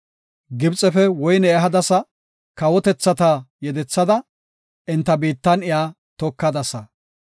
Gibxefe woyne ehadasa; kawotethata yedethada, enta biittan iya tokadasa.